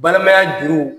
Balimaya juruw